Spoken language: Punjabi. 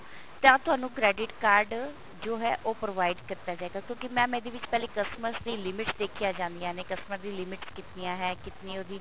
ਤਾਂ ਤੁਹਾਨੂੰ credit card ਜੋ ਹੈ ਉਹ provide ਕੀਤਾ ਜਾਇਗਾ ਕਿਉਂਕਿ mam ਇਹਦੇ ਵਿੱਚ ਪਹਿਲੇ customers ਦੀ limit ਦੇਖੀਆਂ ਜਾਂਦੀਆਂ ਨੇ customer ਦੀ limits ਕਿਤਨੀਆਂ ਹੈ ਕਿਤਨੀ ਉਹਦੀ